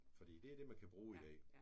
Fordi det er det man kan bruge i dag